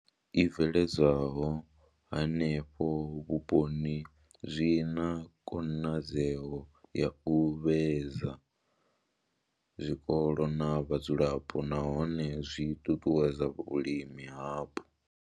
I bveledzwaho henefho vhuponi zwi na khonadzeo ya u vhuedza zwikolo na vhadzulapo nahone zwi ṱuṱuwedza vhulimi hapo.